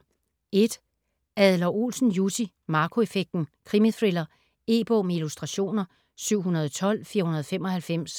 Adler-Olsen, Jussi: Marco effekten: krimithriller E-bog med illustrationer 712495